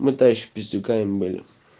мы тогда ещё пиздюками были